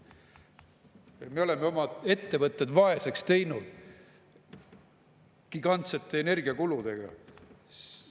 Me oleme oma ettevõtted vaeseks teinud gigantsete energiakuludega.